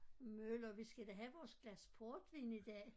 Møller vi skal da have vores glas portvin i dag